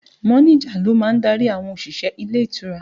Mọ́níjà ló má ń darí àwọn òṣìṣẹ́ ilé ìtura